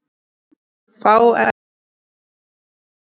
Fá ekki að elska.